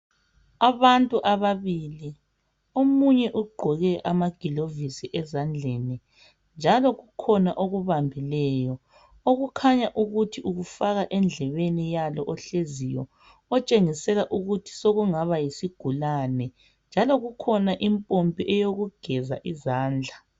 Abantu ababili, omunye ugqoke amagilovisi ezandleni njalo kukhona okubambileyo okukhanya ukuthi ukufaka endlebeni yalo ohleziyo otshengisela ukuthi sokungaba yisigulane njalo kukhona impompi eyokugeza izandla.